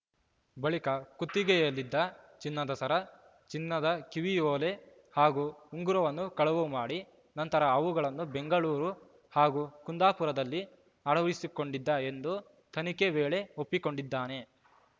ಬಳಿಕ ಕುತ್ತಿಗೆಯಲ್ಲಿದ್ದ ಚಿನ್ನದ ಸರ ಚಿನ್ನದ ಕಿವಿಯ ಓಲೆ ಹಾಗೂ ಉಂಗುರವನ್ನು ಕಳವು ಮಾಡಿ ನಂತರ ಅವುಗಳನ್ನು ಬೆಂಗಳೂರು ಹಾಗೂ ಕುಂದಾಪುರದಲ್ಲಿ ಅಡವಿರಿಸಿಕೊಂಡಿದ್ದ ಎಂದು ತನಿಖೆ ವೇಳೆ ಒಪ್ಪಿಕೊಂಡಿದ್ದಾನೆ